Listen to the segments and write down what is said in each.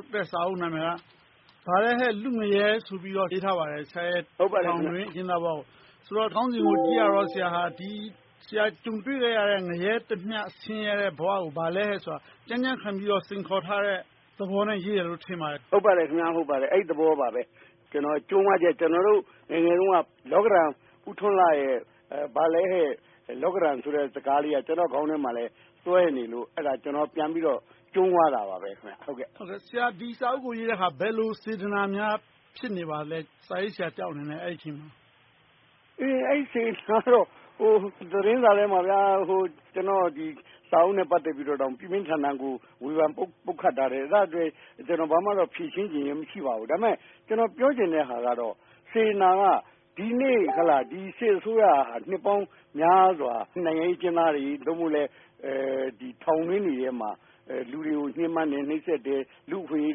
တ်တဲ့ စာအုပ်အမည်က "ဘာလဲဟဲ့ လူ့ငရဲ" ဆိုတာ ရေးထားပါတယ်။ ဆရာရဲ့ ထောင်တွင်းအကျဉ်းသားဘဝ။ ခေါင်းစဉ်ကို ကြည့်ရတာတော့ ဆရာဟာ ကြုံတွေ့ခဲ့ရတဲ့ ငရဲတမျှ ဆင်းရဲတဲ့ဘဝကို ဘာလဲဟဲ့ ဆိုတာ ကြံ့ကြံ့ခံပြီးတော့ စိန်ခေါ်ထားတဲ့ သဘောနဲ့ ရေးတယ်လို့ ထင်ပါတယ်။ ဟုတ်ပါတယ်။ အဲဒီ သဘောပါ။ ကျနော့် ကြုံးဝါးချက်။ ကျနော်တို့ ငယ်ငယ်တုန်းက လောကဓံ ဦးထွန်းလှရဲ့ ဘာလဲဟဲ့ လောကဓံ ဆိုတဲ့စကားလေးက ကျနော့်ခေါင်းထဲမှာ စွဲနေလို့ ကျနော်ပြန်ပြီး ကြုံးဝါးတာပါ။ ဆရာ ဒီစာအုပ်ကို ရေးတဲ့အခါ စာရေးဆရာတယောက်အနေနဲ့ အဲဒီအချိန်မှာ ဘယ်လိုစေတနာများ ဖြစ်နေပါသလဲ။ အဲဒီ စေတနာကတော့ ဟိုသတင်းစာထဲမှာ ကျနော့်စာအုပ်နဲ့ ပတ်သက်ပြီး ပြင်းပြင်းထန်ထန် ပုတ်ခတ်တာ တွေကို ဖြေရှင်းတာ မရှိပါဘူး။ ဒါပေမဲ့ ကျနော်ပြောချင်တဲ့ဟာကတော့ စေတနာက ဒီနေ့ ဒီစစ်အစိုးရက နှစ်ပေါင်းများစွာ နိုင်ငံရေး အကျဉ်းသားတွေ ထောင်တွင်းတွေထဲမှာ လူတွေကို ညှဉ်းပန်းတယ်၊ နှိပ်စက်တယ်၊ လူ့အခွင့်အရေး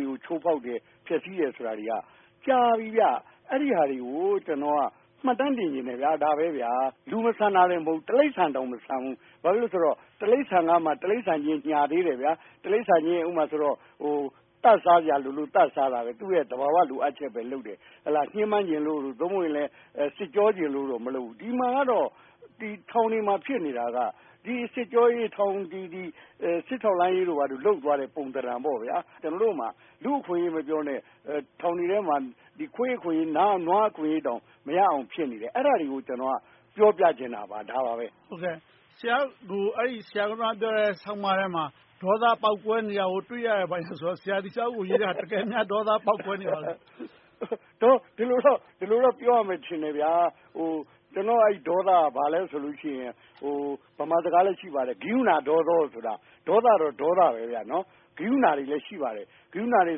တွေကို ချိုးဖောက်တယ်၊ ဖျက်ဆီးတယ်ဆိုတာက ကြာပြီဗျ။ အဲဒီဟာတွေကို ကျနော်က မှတ်တမ်းတင်ချင်တယ်။ ဒါတွေဟာ လူမဆန်တာတောင် မဟုတ်ဘူး၊ တိရစ္ဆာန်တောင် မဆန်ဘူး။ ဘာဖြစ်လို့လဲဆိုတော့ တိရစ္ဆာန်ကမှ တိရစ္ဆာန်အချင်းချင်း ညှာသေးတယ်။ တိရစ္ဆာန်အချင်းချင်း သတ်စားစရာလိုလို့ သတ်စားတဲ့ သူရဲ့ သဘာဝလိုအပ်ချက်သာ လုပ်တယ်။ ညှင်းပန်းချင်လို့ စစ်ကြောချင်လို့ မလုပ်ဘူး။ ဒီမှာကတော့ ထောင်တွေမှာဖြစ်နေတာက စစ်ကြောရေး စစ်ထောက်လှမ်းရေးတို့ လုပ်သွားတဲ့ ပုံသဏ္ဍာန်ပေါ့။ ကျနော်တို့မှာ လူ့အခွင့်အရေး မပြောနဲ့ ထောင်တွေထဲမှာ ခွေးအခွင့်အရေး၊ နွားအခွင့်အရေးတောင် မရအောင် ဖြစ်နေတယ်။ အဲဒါတွေကို ကျနော်က ပြောပြချင်တာပါ။ ဆရာပြောတဲ့ အဲဒီ ဆောင်းပါးထဲမှာ ဒေါသပေါက်ကွဲနေတာ တွေ့ရတယ် ဘာညာဆိုတော့ ဆရာအနေနဲ့ ဒီစာအုပ်ကို ရေးတာ တကယ် ဒေါသပေါက်ကွဲ နေသလား။ ဒီလိုတော့ ပြောရမယ်ထင်တယ်။ ကျနော့် ဒေါသက ဘာလဲဆိုရင် ဗမာစကားလည်း ရှိပါတယ်။ ကရုဏာ ဒေါသော - ဒေါသတော့ ဒေါသ၊ ကရုဏာတွေလည်း ရှိပါတယ်။ ကရုဏာတွေ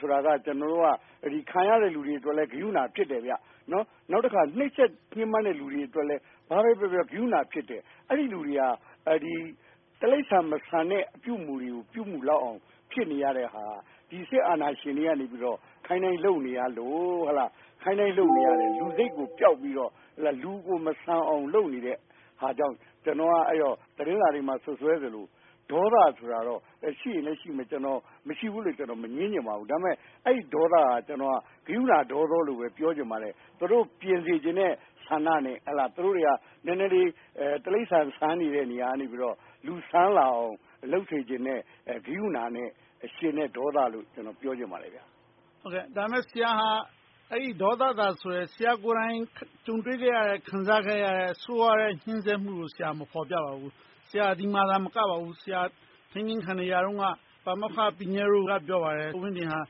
ဆိုတာ ခံရတဲ့လူတွေအတွက်လည်း ကရုဏာ ဖြစ်တယ်။ နှိပ်စက်ညှဉ်းပန်းတဲ့ လူတွေအတွက်လည်း ဘာပဲပြောပြော ကရုဏာဖြစ်တယ်။ အဲဒီလူတွေဟာ တိရစ္ဆာန် မဆန်တဲ့ အပြုအမူတွေကို ပြုမူလောက်အောင် ဖြစ်နေရတဲ့ဟာက ဒီစစ်အာဏာရှင်တွေက ခိုင်းတိုင်း လုပ်နေရလို့။ ခိုင်းတိုင်း လုပ်နေကာ လူစိတ်ကိုပျောက်ပြီး လူမဆန်ဘဲ လုပ်နေတဲ့ဟာကြောင့် ကျနော်က သတင်းစာတွေမှာ စွပ်စွဲသလို ဒေါသဆိုတာတော့ ရှိရင်လည်းရှိမယ်။ မရှိဘူးလို့လည်း ကျနော် မငြင်းချင်ပါဘူး။ ဒါပေမဲ့ အဲဒီဒေါသက ကရုဏာဒေါသော လို့သာ ပြောချင်ပါတယ်။ သူတို့ကို ပြင်စေချင်တဲ့ဆန္ဒနဲ့ သူတို့ဟာ နည်းနည်းလေး တိရစ္ဆာန်ဆန်နေတဲ့ နေရာကနေ လူဆန် လာအောင် လုပ်စေချင်တဲ့ ကရုဏာနဲ့ ဖြစ်စေချင်တဲ့ ဒေါသလို့ ပြောချင်ပါတယ်။ ဒါပေမဲ့ ဆရာက အဲဒီဒေါသလို့ဆိုတယ်၊ ဆရာကိုယ်တိုင် ကြုံတွေ့ခဲ့ရတဲ့၊ ခံစားခဲ့ရတဲ့ ဆိုးဝါးတဲ့ ညှဉ်းပန်း နှိပ်စက်မှုကို မဖော်ပြပါဘူး။ ဒီမှာသာမကဘူး၊ ထိန်းသိမ်းခံကာလတုန်းက ပါမောက္ခ ပီညဲရိုး က ပြောပါတယ်၊ ဦးဝင်းတင် ဟာ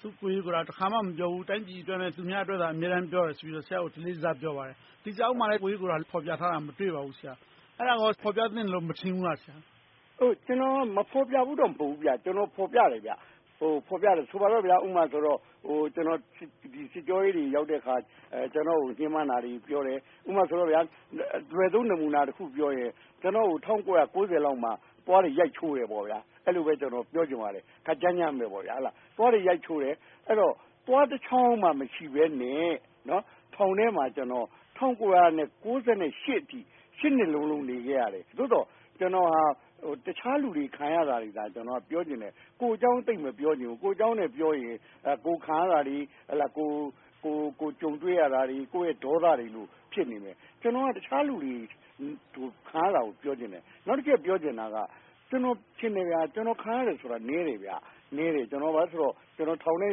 သူ့ကိုယ်ရေးကိုယ်တာအရေး တခါမှ မပြောဘူး။ တိုင်းပြည်အတွက်နဲ့ သူများအတွက်သာ ပြောတဲ့အကြောင်း တလေးတစား ပြောပါတယ်။ ဒီစာအုပ်မှာ ကိုယ်ရေးကိုယ်တာ ဖော်ပြထားတာ မတွေ့ပါဘူး။ အဲဒါကိုရော ဖော်ပြသင့်တယ်လည်း မထင်ဘူးလား။ ကျနော် မဖော်ပြဘူးလို့တော့ မဟုတ်ဘူး၊ ကျနော် ဖော်ပြပါတယ်။ ဆိုပါတော့ ကျနော် စစ်ကြောရေးတွေ ရောက်တဲ့အခါ ကျနော်ကို ညှဉ်းပန်းတာတွေကို ပြောတယ်။ ဥပမာ အလွယ်ဆုံး နမှုနာတခုပြောရင် ကျနော့်ကို ၁၉၉၀ လောက်မှာ သွားတွေ ရိုက်ချိုးတယ်။ အဲဒီလို ခပ်ကြမ်းကြမ်း သွားတွေ ရိုက်ချိုးတယ်။ သွားတချောင်းမှ မရှိဘဲနဲ့ ထောင်ထဲမှာ ၁၉၉၈ နှစ်အထိ ရှစ်နှစ်လုံးလုံး နေခဲ့ရတယ်။ သို့သော် ကျနော်ဟာ တခြားလူတွေ ခံရတာတွေသာ ပြောချင်တယ်၊ ကိုယ့်အကြောင်း သိပ်မပြောချင်ဘူး။ ကိုယ့်အကြောင်းနဲ့ပြောရင် ကိုယ့်ခံရတာတွေ၊ ကြုံတွေ့ခဲ့ရတာတွေ၊ ကိုယ့်ရဲ့ ဒေါသ တွေလို့ ဖြစ်နေမယ်။ ကျနော်က တခြားလူတွေ ခံရတာကို ပြောချင်တယ်။ နောက်တချက် ပြောချင်တာက ကျနော်ထင်တယ် ကျနော်ခံရတာက နည်းတယ်။ ဘာဖြစ်လို့လည်းဆိုတော့ ကျနော် ထောင်ထဲ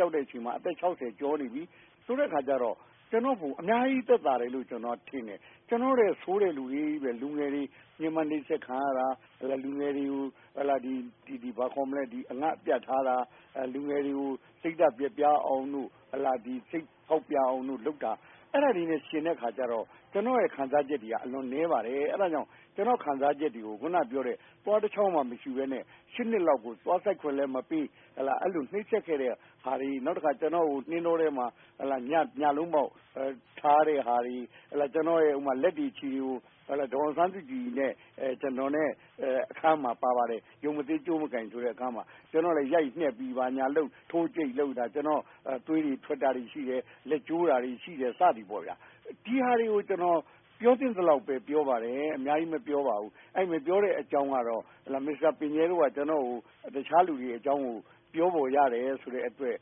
ရောက်တဲ့အချိန်မှာ အသက် ကျော်နေပြီ ဆိုတော့ ကျနော်က အများကြီးသက်သာတယ်လို့ ထင်တယ်။ ကျနော်ထက် ဆိုးတဲ့လူတွေ အများကြီး။ လူငယ်တွေ ညှဉ်းပန်း နှိပ်စက် ခံရတာ။ လူငယ်တွေကို အငတ်အပြတ်ထားတာ၊ လူငယ်တွေကို စိတ်ဓါတ်ပျက်ပြားအောင်၊ စိတ်ဖောက်ပြန်အောင် လုပ်တာတွေနဲ့ ယှဉ်တဲ့အခါကျတော့ ကျနော်ရဲ့ ခံစားချက်တွေက အလွန် နည်းပါတယ်။ အဲဒါကြောင့် ကျနော့် ခံစားချက် တွေကို အခုနပြောတဲ့ သွားတချောင်းမှမရှိဘဲနဲ့ ရှစ်နှစ်လောက်ကို သွားစိုက်ခွင့်လည်း မပေး၊ အဲဒီလို နှိပ်စက်ခဲ့တဲ့ဟာတွေ။ နောက်တော့ ကျနော်ကို နှင်းတောထဲမှာ ညလုံးပေါက် ထားတဲ့ဟာတွေ၊ ကျနော်ရဲ့ လက်တွေခြေတွေကို ဒေါ်အောင်ဆန်းစုကြည် နဲ့ ကျနော် အခန်းကဏ္ဍ "ရုပ်မသေး ကြိုးမကိုင် " မှာ ပါတယ် - ကျနော့်ကို ရိုက်နှက် ဘာညာလုပ်၊ ထိုးကြိတ်လုပ်တာ၊ ကျနော့် သွေးတွေ ထွက်တာရှိတယ်၊ လက်ကျိုးတာတွေ ရှိတယ်။ ဒီဟာတွေကို ပြောသင့်သလောက်ပဲ ပြောပါတယ်၊ အများကြီးမပြောပါဘူး။ မပြောတဲ့အကြောင်းကတော့ မစ္စတာပီညဲရိုး က တခြားလူတွေအကြောင်းကို ပြောဖော်ရတယ်ဆိုတဲ့အတွက်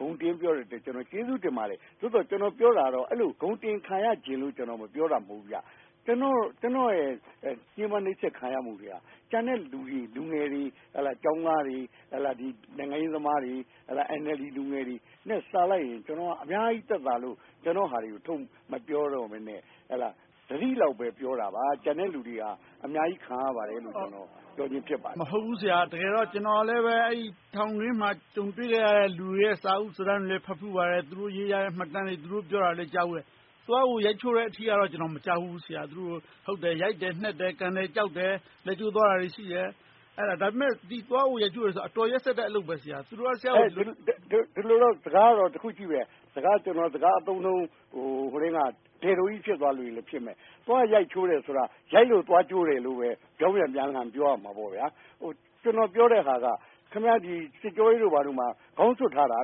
ဂုဏ်တင်ပြောဆိုတာကို ကျေးဇူးတင်ပါတယ်။ သို့သော် ကျနော် ပြောချင်တာက အခုလို ဂုဏ်တင်ခံချင်လို့ ပြောတာမဟုတ်ဘူး။ ကျနော်ရဲ့ ညှဉ်းပန်းနှိပ်စက်ခံရမှုတွေက ကျန်တဲ့လူတွေ၊ လူငယ်တွေ၊ ကျောင်းသားတွေ၊ နိုင်ငံရေးသမားတွေ၊ အန်အယ်လ်ဒီ လူငယ်တွေ ထက် အများကြီးသက်သာလို့ ကျနော့်အရေးကို ထုတ်မပြောဘဲနဲ့ နည်းနည်းပဲ ပြောတာပါ။ ကျန်တဲ့လူတွေဟာ အများကြီးခံရပါတယ်လို့ ပြောချင်တာ ဖြစ်ပါတယ်။ မဟုတ်ဘူး ဆရာ။ ကျနော်ကလည်း တကယ်တော့ ထောင်တွင်းမှာ ကြုံတွေ့ခံရတဲ့ လူတွေရဲ့ စာအုပ် စာတမ်းတွေလည်း ဖတ်ဖူးပါတယ်။ သူတို့ရေး၊ ပြောဆိုတဲ့ မှတ်တမ်းတွေကိုလည်း ကြားဖူးပါတယ်။ သွားကို ရိုက်ချိုးတာ တော့ မကြားခဲ့ဘူး။ ရိုက်တယ်၊ နှက်တယ်၊ ကန်ကြောက်တယ်၊ လက်ကျိုးသွားတာတွေ ရှိတယ်။ ဒါပေမဲ့ သွားကို ရိုက်ချိုး တယ်ဆိုတာ အတော်ရက်စက်တဲ့ အလုပ်ဖြစ်တယ်။ ဒီလိုတော့ တခုရှိတယ်။ ကျနော့် စကားအသုံးအနှုန်းက ဒဲ့ဒိုးကြီး ဖြစ်မယ်။ သွားရိုက်ချိုးတယ်ဆိုတာ ရိုက်လို့ သွားကျိုးတယ်လို့ ပြောင်းပြန် ပြောရလိမ့်မယ်။ ကျနော် ပြောတဲ့ဟာက ဒီ စစ်ကြောရေးတို့မှာ ခေါင်းစွပ်ထားတာ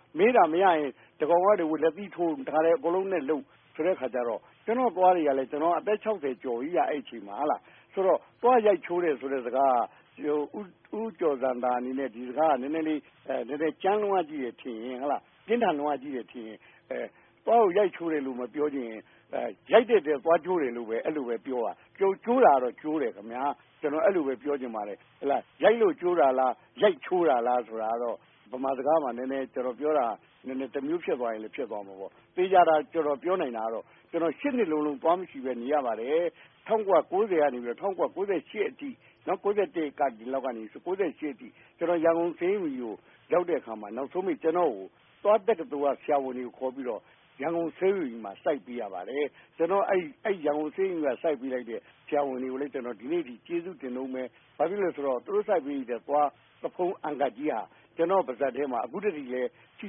။ မေးတာ မရရင် တကောင်က တဗိုလ် လက်သီးထိုးလုပ်တာဆိုတော့ ကျနော့်သွားတွေက အသက် ကျော်ပြီးဆိုတော့ သွား ရိုက်ချိုးသလို ဖြစ်တယ်။ ဒီစကားက နည်းနည်း ကြမ်းတယ်၊ ပြင်းထန်တယ်ဆိုရင် သွားကိုရိုက်ချိုးတယ်လို့ မပြောချင်ရင် ရိုက်လို့ သွားကျိုးတယ်လို့ ပြောပါ။ ကျိုးတာကတော့ ကျိုးတယ်လို့ ပြောချင်ပါတယ်။ ရိုက်လို့ကျိုးတာလား၊ ရိုက်ချိုးတာလား ဆိုတာကတော့ ဗမာစကားမှာ ကျနော်ပြောတာ တမျိုးဖြစ်သွားရင်တော့ ဖြစ်သွားမှာပေါ့။ သေချာတာ ပြောနိုင်တာကတော့ ကျနော် နှစ်လုံးလုံး သွားမရှိဘဲ နေရပါတယ်။ ၁၉၉၀ ကနေ ၁၉၉၈ ခုနှစ်အထိ ရန်ကုန်ဆေးရုံကြီးကို ရောက်တဲ့အခါမှာ နောက်ဆုံးပိတ် သွားတက္ကသိုလ်က ဆရာဝန်တွေခေါ်ပြီး စိုက်ပေးကြပါတယ်။ အဲဒီ ရန်ကုန်ဆေးရုံကြီးမှာ စိုက်ပေးလိုက်တဲ့ ဆရာဝန်တွေကိုလည်း ဒီနေ့အထိ ကျေးဇူးတင်နေတုန်းပါ။ ဘာဖြစ်လို့လဲဆိုတော့ သူတို့ စိုက်ပေးလိုက်တဲ့ သွားဖုံး အန်ကပ်ကြီးဟာ ကျနော့်ပါးစပ်ထဲမှာ အခုထိ ရှိ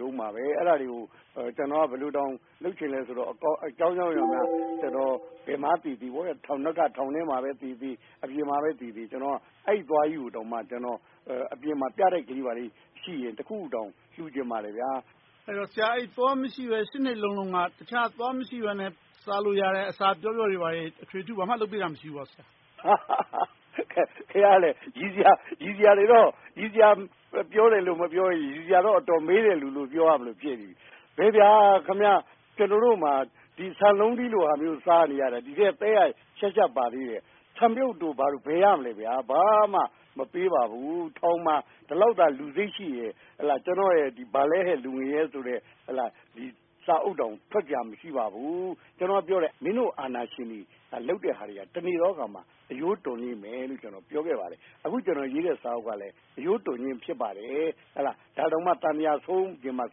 တုန်းပါ။ အဲဒါတွေကို ကျနော်က ဘယ်လိုလုပ်ချင်သလဲဆိုတော့ အကြောင်းကြောင်းကြောင့် ဘယ်မှာသေသေ - ထောင်ထဲမှာသေသေ၊ အပြင်မှာသေသေ - အဲဒီသွားကြီးကို အပြင်မှာ ပြတိုက်လေး ဘာလေးရှိရင် လှူချင်ပါတယ်။ ဆရာ သွားမရှိဘဲ နှစ်လုံးလုံးက သွားမရှိဘဲ စားလို့ရတဲ့ အစာပျော့ပျော့တွေ ဘာတွေ အထွေအထူး လုပ်ပေးတာ မရှိဘူးလား။ ရယ်စရာတွေ မပြောတောင်၊ ရယ်စရာတွေ အတော်မေးတဲ့လူလို့ ပြောရမလို ဖြစ်နေပြီ။ ဘယ်ဗျာ... ကျနော်တို့မှာ ဆန်လုံးတီးလိုဟာမျိုး စားနေရတာ။ ဒီထဲ သဲက ပါသေးတယ်။ ဆန်ပြုပ်တို့ ဘာတို့ ဘယ်ရမလဲ။ ဘာမှ မပေးပါဘူး။ ထောင်မှာ ဒီလောက်သာ လူစိတ်ရှိရင် ကျနော်ရဲ့ "ဘာလဲဟဲ့ လူ့ငရဲ" စာအုပ်တောင် ထွက်စရာ မရှိပါဘူး။ ကျနော်ကပြောတယ်၊ မင်းတို့ အာဏာရှင်တွေ လုပ်တဲ့ဟာတွေ တနေ့သောအခါမှာ အရိုးတွန်လိမ့်မယ်လို့ ကျနော် ပြောခဲ့ ပါတယ်။ အခု ကျနော်ရေးတဲ့ စာအုပ်ကလည်း အရိုးတွန်ခြင်း ဖြစ်ပါတယ်။ ဒါတောင်မှ သံသရာ ဆုံးချင်မှ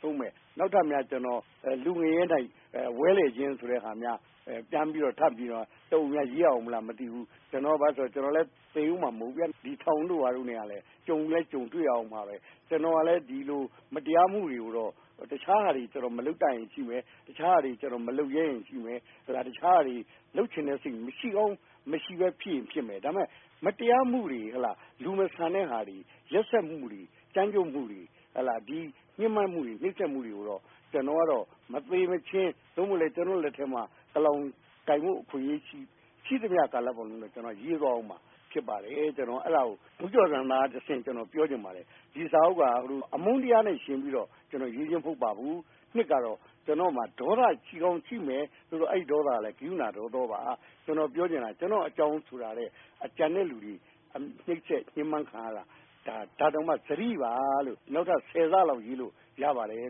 ဆုံးမယ်။ နောက်ထပ်များ လူ့ငရဲ၌ ဝဲလည်ခြင်း ဆိုတာများ ပြန်ပြီး နောက်တအုပ် ရေးရမလား မသိဘူး။ ကျနော်လည်း သေမှာ မဟုတ်သေးဘူး။ ဒီ ထောင်တို့ ဘာတို့နဲ့ ကြုံတွေ့ရလိမ့်မယ်။ ကျနော်ကလည်း ဒီလို မတရားမှုတွေကိုတော့ တခြားဟာတွေ မလုပ်တတ်တာ ရှိမယ်၊ တခြားဟာတွေ မလုပ်ရဲတာ ရှိမယ်။ တခြားဟာတွေ လုပ်ချင်စိတ် မရှိကောင်း မရှိချင်စိတ်ရှိမယ်။ ဒါပေမဲ့ မတရားမှုတွေ လူမဆန်တဲ့ဟာတွေ၊ ရက်စက်မှုတွေ၊ ကြမ်းကြုတ်မှုတွေ၊ ညှဉ်းပန်းနှိပ်စက်မှုတွေကိုတော့ ကျနော် ကတော့ မသေမချင်း၊ ကျနော့်လက်ထဲမှာ ကလောင်ကိုင်ခွင့် ရှိသမျှ ကာလပတ်လုံး ကျနော်ကတော့ ရေးသွားပါမယ်။ အဲဒါကို ဦးကျော်ဇံသာကတဆင့် ပြောချင်ပါတယ်။ ဒီစာအုပ်က အမုန်းတရားနဲ့ ယှဉ်ပြီး ရေးခြင်းမဟုတ်ပါဘူး။ အနှစ်ကတော့ ကျနော့်မှာ ဒေါသ ရှိကောင်းရှိမယ်။ ဒါပေမဲ့ အဲဒီဒေါသက ကရုဏာဒေါသောပါ။ ကျနော်ပြောချင်တာက ကျနော့်အကြောင်းဆိုတာထက် ကျန်တဲ့လူတွေ နှိပ်စက်ညှဉ်းပန်းခံရတာ။ ဒါတောင်မှ စတိ ပါ။ ဒီထက်မက ဆယ်ဆလောက် ရေးလို့ရတယ်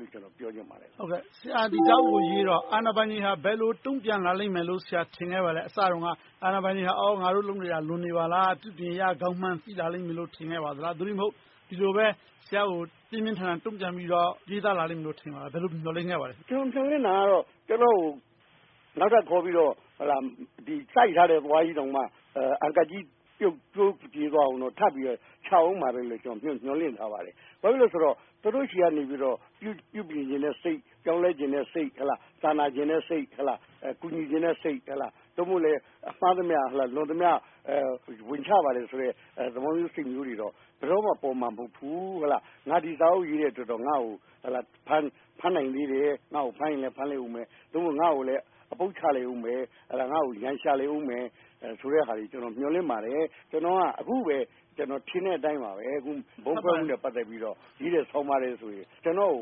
လို့ ပြောချင်ပါတယ်။ ဆရာ ဒီစာအုပ်ကိုရေးတော့ အာဏာပိုင်တွေက ဘယ်လို တုံ့ပြန်လာလိမ့်မယ်လို့ ထင်ခဲ့ပါသလဲ။ အစတုန်းက အာဏာပိုင်တွေ ငါတို့လုပ်နေတာ လွန်နေပါလား။ ပြုပြင်ရကောင်းမှန် သိလာလိမ့်မယ်လို့ ထင်မိပါသလား။ သို့တည်းမဟုတ် ဒီလိုပဲ ဆရာကို ပြင်းပြင်းထန်ထန် တုံ့ပြန်ရေးသားလာလိမ့်မယ်လို့ ထင်သလား။ ဘယ်လို မျှော်လင့်ခဲ့ ပါသလဲ။ ကျနော် မျှော်လင့်တာကတော့ ကျနော်ကို နောက်ထပ်ခေါ်ပြီးတော့ စိုက်ထားတဲ့ သွားကြီး အန်ကပ်ကြီး ကျိုးကြေသွားအောင် ထပ်ပြီးချမယ်လို့ မျှော်လင့်ထားပါတယ်။ ဘာဖြစ်လို့လဲဆိုတော့ သူတို့ဆီက ပြုပြင်ချင်တဲ့စိတ်၊ ပြောင်းလဲချင်တဲ့စိတ်၊ စာနာချင်တဲ့စိတ်၊ ကူညီချင်တဲ့စိတ် မှားသမျှလွန်သမျှ ဝန်ချပါတယ်ဆိုတဲ့ စိတ်မျိုးတွေ ဘယ်တော့မှ ပေါ်မှာမဟုတ်ဘူး။ ငါ ဒီစာအုပ်ရေးတဲ့အတွက် ငါ့ကို ဖမ်းနိုင်သေးတယ်။ ငါ့ကို ဖမ်းလိမ့်အုံးမယ်။ ငါကို အပုတ် ချလိမ့်မယ်၊ ရန်ရှာလိမ့်မယ်ဆိုတဲ့ဟာတွေ မျှော်လင့်ပါတယ်။ ကျနော်ထင်တဲ့အတိုင်းပါ၊ ဗုံးခွဲမှုနဲ့ ပတ်သက်ပြီး ရေးတဲ့ ဆောင်းပါးထဲ ကျနော့်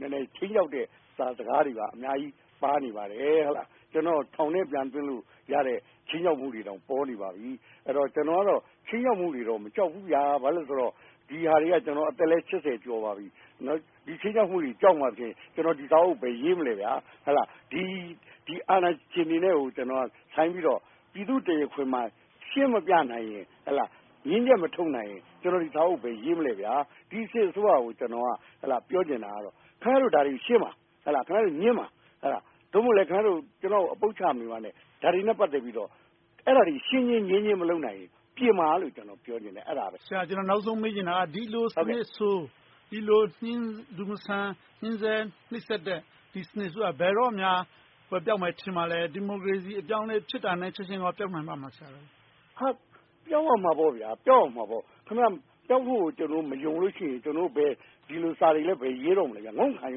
ကို ခြိမ်းခြောက်တဲ့ စာစကားတွေ အများကြီးပါနေပါတယ်။ ကျနော်ကို ထောင်ထဲပြန်သွင်းဖို့ ခြိမ်းခြောက်မှုတွေ ပေါ်နေပါပြီ။ ကျနော်ကတော့ ခြိမ်းခြောက်မှုတွေတော့ မကြောက်ဘူး။ ဘာဖြစ်လို့လဲဆိုတော့ ကျနော် အခု အသက်လည်း ကျော်ပါပြီ။ ဒီခြိမ်းခြောက်မှုတွေ ကြောက်မှဖြင့် ကျနော် ဒီစာအုပ်တွေ ဘယ်ရေးမလဲ။ ဒီ အာဏာရှင်တွေနဲ့ ထိပ်တိုက် ပြည်သူ့တရားခွင်မှာ ရှင်းမပြနိုင်ရင်၊ ငြင်းချက်မထုတ်နိုင်ရင် ကျနော် ဒီစာအုပ်ကို ဘယ်ရေးမလဲ။ ဒီ စစ်အစိုးရကို ကျနော် ပြောချင်တာကတော့ ခင်ဗျားတို့ ဒါတွေကို ရှင်းပါ၊ ငြင်းပါ။ သို့မဟုတ်လည်း ခင်ဗျားတို့ ကျနော်ကို အပုတ်ချမနေပါနဲ့ ဒါတွေနဲ့ ပတ်သက်ပြီး ရှင်းခြင်း၊ ငြင်းခြင်း မလုပ်နိုင်ရင် ပြင်ပါလို့ ပြောချင်တယ်။ ကျနော် နောက်ဆုံးမေးချင်တာက ဒီလိုစနစ်ဆိုး၊ ဒီလို လူမဆန် ညှဉ်းပန်းနှိပ်စက်တဲ့ စနစ်ဆိုးက ဘယ်တော့မှ ကွယ်ပျောက်မယ် ထင်ပါသလဲ။ ဒီမိုကရေစီ အပြောင်းအလဲဖြစ်တာနဲ့ ချက်ချင်း ပျောက်ကွယ်နိုင်ပါသလား။ ပြောင်းရမှာပေါ့၊ ပျောက်ရမှာပေါ့။ ပျောက်ဖို့ကို မယုံလို့ရှိရင် ကျနော်တို့ ဒီလိုစာတွေ ဘယ်ရေးတော့မလဲ။ င့ုံခံ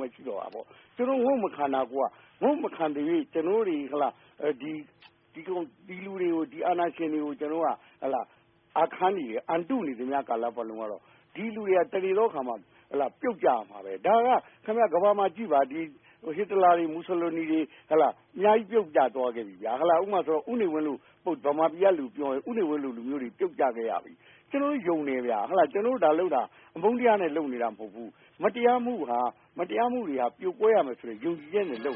ဖို့ ရှိတော့တာပေါ့။ ဒီလိုမျိုး ငုံ့မခံသရွေ့ ကျနော်တို့တတွေ ဒီ အာဏာရှင်တွေကို အာခံနေ၊ အံ့တုနေသမျှကာလပတ်လုံး ဒီလူတွေဟာ တနေ့သောအခါမှာ ပြုတ်ကျရမှာ။ ဒါက ကမ္ဘာပေါ်မှာကြည့်ပါ ဟစ်တလာ၊ မူဆိုလိုနီ အများကြီး ပြုတ်ကျသွား ခဲ့ပြီ။ ဗမာပြည်မှာဆို ဦးနေဝင်းလို လူ ပြုတ်ကျသွားခဲ့တယ်။ ကျနော်တို့ ယုံတယ်။ ဒါလုပ်တာ အမုန်းတရားနဲ့ လုပ်နေတာ မဟုတ်ဘူး။ မတရားမှုတွေဟာ ပြိုကွဲရမယ်ဆိုတဲ့ ယုံကြည်ချက်နဲ့ လုပ်